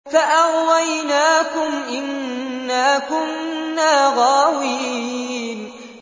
فَأَغْوَيْنَاكُمْ إِنَّا كُنَّا غَاوِينَ